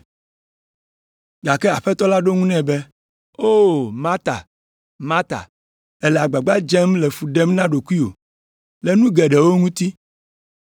Gake Aƒetɔ la ɖo eŋu nɛ be, “O, Marta, Marta, èle agbagba dzem le fu ɖem na ɖokuiwò le nu geɖewo ŋuti.